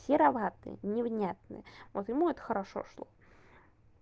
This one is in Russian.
сероватый невнятный вот ему это хорошо шло